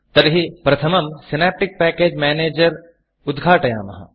तर्हि प्रथमं Synaptic package Managerसिनाप्टिक् पेकेज् मेनेजर् उद्घाटयामः